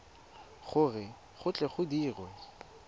gore go tle go dirwe